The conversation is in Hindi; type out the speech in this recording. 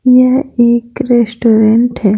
यह एक रेस्टोरेंट है।